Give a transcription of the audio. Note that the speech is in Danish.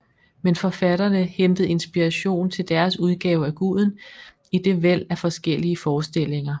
Men forfatterne hentede inspiration til deres udgave af guden i det væld af forskellige forestillinger